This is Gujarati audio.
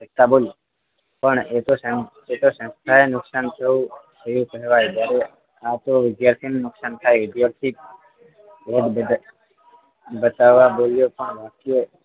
પણ એતો સંસ્થા સંસ્થાએ નુકસાન થયુ થયુ કહેવાય આ તો વિદ્યાર્થીઓનું નુકસાન થાય વિદ્યાર્થી એકબીજા બતાવવા બોલ્યો પણ વાક્ય